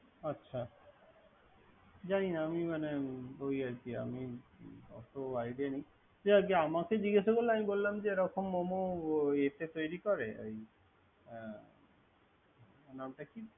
আচ্ছা জানি না আমি মানে ওই আরকি। আমি ওত idea নাই। যাই হোক আমাকে জিগাসা করলো আমি বললাম ইয়াতে তৈরি করে ওর নামটা টি।